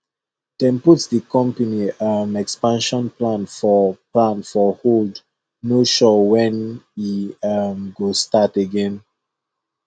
dem put the company um expansion plan for plan for hold no sure when e um go start again